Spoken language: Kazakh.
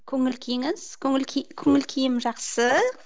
көңіл күйіңіз көңіл күй көңіл күйім жақсы